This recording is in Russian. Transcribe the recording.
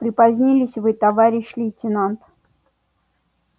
припозднились вы товарищ лейтенант